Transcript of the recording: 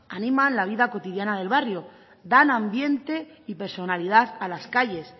animan la vida cotidiana del barrio dan ambiente y personalidad a las calles